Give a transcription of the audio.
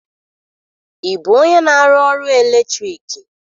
Ị bụ onye na-arụ ọrụ eletriki?